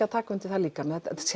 að taka undir það líka